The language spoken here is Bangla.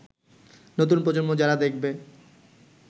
নতুন প্রজন্ম যারা দেখবে